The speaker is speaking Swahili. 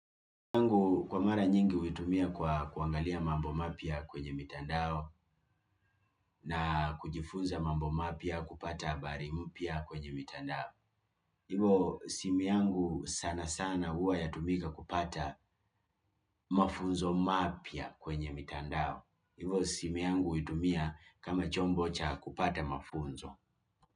Simu yangu kwa mara nyingi huitumia kwa kuangalia mambo mapya kwenye mitandao na kujifunza mambo mapya kupata habari mpya kwenye mitandao. Ivo simu yangu sana sana huwa yatumika kupata mafunzo mapya kwenye mitandao. Ivo simiangu huitumia kama chombo cha kupata mafunzo.